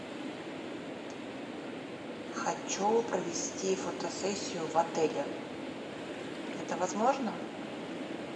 хочу провести фотосессию в отеле это возможно